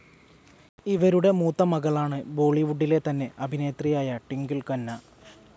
ഇവരുടെ മൂത്ത മകളാണ് ബോളിവുഡിലെ തന്നെ അഭിനേത്രിയായ ട്വിങ്കിൾ ഖന്ന.